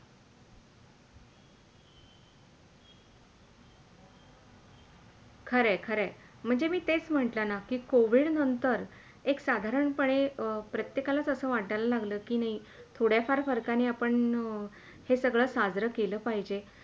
खरंय खरंय! म्हणजे मी तेच म्हटलं ना कि COVID नंतर साधारण पणे प्रत्येकालाच असे वाटायला लागला कि थोडा फार - फरकणी आपण हे सगळं साजरे केले पाहिजे.